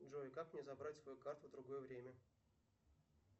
джой как мне забрать свою карту в другое время